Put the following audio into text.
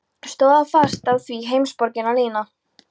Stóð fast á því, heimsborgarinn Lena.